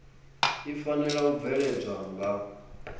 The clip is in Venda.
i fanela u bveledzwa nga